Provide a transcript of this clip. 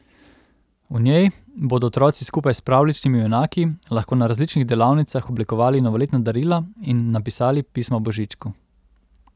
V njej bodo otroci skupaj s pravljičnimi junaki lahko na različnih delavnicah oblikovali novoletna darila in napisali pismo Božičku.